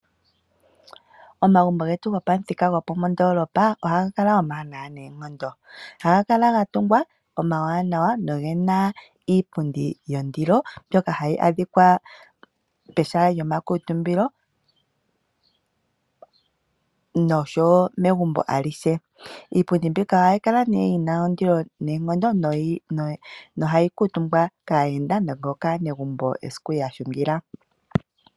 Omagumbo getu gopamuthika gopandoolopa ohaga kala omawanawa noonkondo. Ohaga kala ga tungwa omawanawa noge na iipundi yondilo mbyoka hayi adhika pehala lyomakuutumbilo nosho wo megumbo alihe. Iipundi mbika ohayi kala yi na ondilo noonkondo nohayi kuutumbwa kaayenda nokaanegumbo esiku ya hungila.